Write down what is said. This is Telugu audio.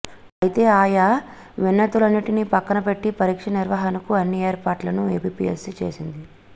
అయితే ఆయా విన్నతులన్నింటిని పక్కనబెట్టి పరీక్షల నిర్వహణకు అన్ని ఏర్పాట్లను ఏపీపీఎస్పీ చేసింది